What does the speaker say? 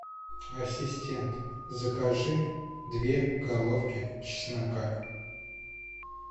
ассистент закажи две головки чеснока